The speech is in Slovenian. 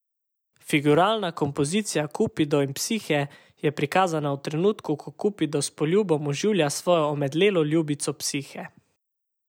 Figuralna kompozicija Kupido in Psihe je prikazana v trenutku, ko Kupido s poljubom oživlja svojo omedlelo ljubico Psihe.